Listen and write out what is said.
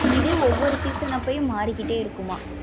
இதே ஒவ்வொரு season அப்பையும் மாறிக்கிட்டே இருக்கும்மா?